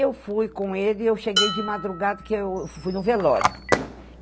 eu fui com ele e eu cheguei de madrugada, que eu fui no velório.